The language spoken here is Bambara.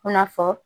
I n'a fɔ